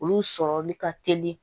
Olu sɔrɔli ka teli